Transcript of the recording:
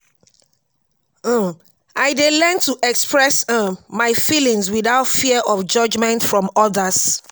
um i dey learn to express um my feelings without fear of judgment from others.